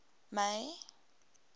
may